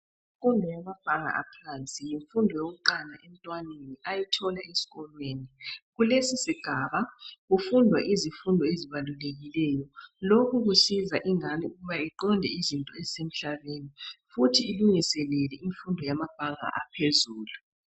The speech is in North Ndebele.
Imfundo yamabanga aphansi, yimfundo yokuqala emntwaneni ayithola esikolweni. Kulesi sigaba kufunda izifundo ezibalulekileyo lokhu kusiza ingane ukuba iqonde izinto ezisemhlabeni futhi ilungiselela ifundo yebanga elingaphezulu.